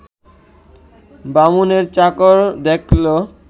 বামুনের চাকর দেখল